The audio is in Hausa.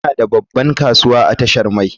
Muna da babban kasuwa a tashar mai.